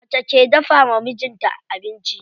Mace ke dafawa mijin ta abinci.